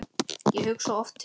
Ég hugsa oft til þín.